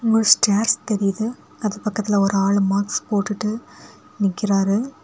ஒரு ஸ்டேர்ஸ் தெரியிது அது பக்கத்துல ஒரு ஆள் மாக்ஸ் போட்டுட்டு நிக்கிறாரு.